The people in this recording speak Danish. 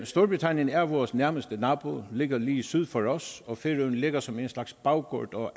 storbritannien er vores nærmeste nabo ligger lige syd for os og færøerne ligger som en slags baggård og